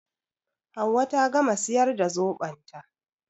Hauwa ta gama siyar da zoɓon ta